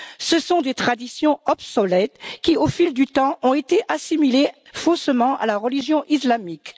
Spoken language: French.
Ce sont des traditions obsolètes qui, au fil du temps, ont été assimilées faussement à la religion islamique.